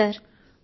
అవును సర్